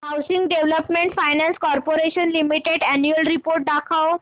housing Development Finance Corporation Limited annual report दाखव